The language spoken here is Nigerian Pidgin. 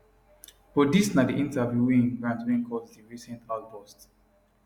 but dis na di interview wey e grant wey cause di recent outburst